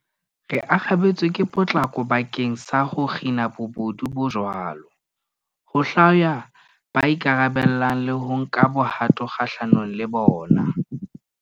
Re arabetse ka potlako bakeng sa ho kgina bobodu bo jwalo, ho hlwaya ba ikarabellang le ho nka bohato kgahlanong le bona.